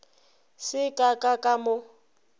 se ka ka ka mo